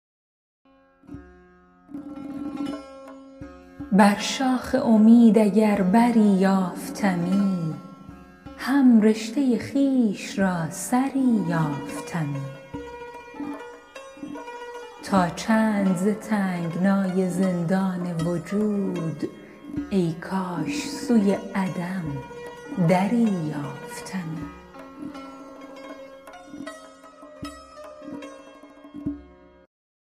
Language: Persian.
بر شاخ امید اگر بری یافتمی هم رشته خویش را سری یافتمی تا چند ز تنگنای زندان وجود ای کاش سوی عدم دری یافتمی